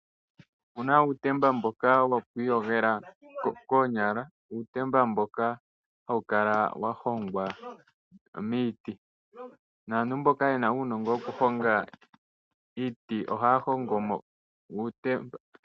Ipuna uutemba mboka woku iyogela koonyala. Uutemba mboka hawu kala wa hongwa miiti. Aantu mboka yena uunongo woku honga iiti ohaya hongomo uutemba.